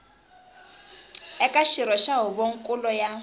eka xirho xa huvonkulu ya